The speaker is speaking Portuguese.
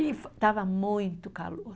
E estava muito calor.